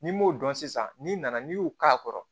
N'i m'o dɔn sisan n'i nana n'i y'u k'a kɔrɔ